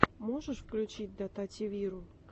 можешь включить дотативиру